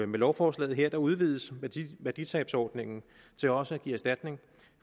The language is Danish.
med lovforslaget her udvides værditabsordningen til også at give erstatning